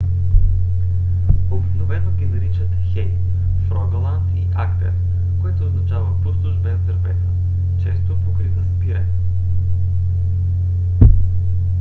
обикновено ги наричат хей в рогаланд и агдер което означава пустош без дървета често покрита с пирен